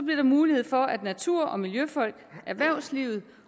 der mulighed for at natur og miljøfolk erhvervslivet